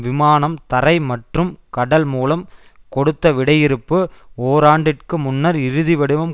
விமானம் தரை மற்றும் கடல் மூலம் கொடுத்த விடையிறுப்பு ஓராண்டிற்கு முன்னர் இறுதிவடிவம்